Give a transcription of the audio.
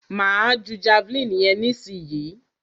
Máa ju javeline yẹn nísìyí.